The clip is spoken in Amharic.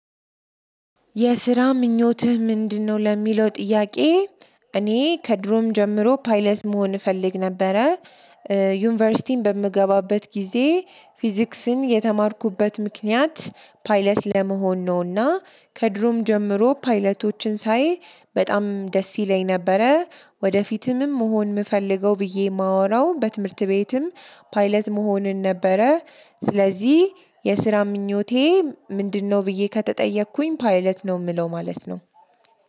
የስራ ምኞትህ ምንድነው? ለሚለው ጥያቄ እኔ ከድሮም ጀምሮ ፓይለት መሆን እፈልግ ነበረ። ዩኒቨርሲቲን በምገባበት ጊዜ ፊዚክስን የተማርኩበት ምክንያት ፓይለት ለመሆን ነውና ከድሮም ጀምሮ ፓይለቶችን ሳይ በጣም ደስ ይለኝ ነበረ። ወደፊትም መሆን የምፈልገው ብዬ የማወራው በትምህርት ቤትም ፓይለት መሆንን ነበረ። ስለዚህ የስራ ምኞቴ ምንድነው? ብዬ ከተጠየኩኝ ፓይለት ነው የምለው ማለት ነው።